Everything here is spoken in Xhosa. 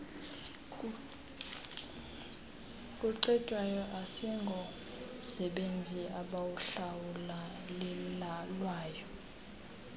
kucetywayo asingomsebenzi abawuhlawulelwayo